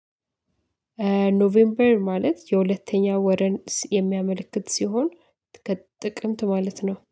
ኖቬምበር ማለት የሁለተኛ ወርን የሚያመለክት ሲሆን። ጥቅምት ማለት ነው